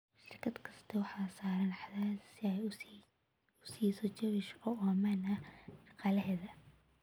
Shirkad kasta waxaa saaran cadaadis si ay u siiso jawi shaqo oo ammaan ah shaqaalaheeda.